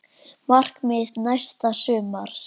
Markmið næsta sumars?